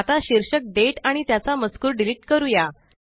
आता शीर्षक दाते आणि त्याचा मजकूर डिलीट करूया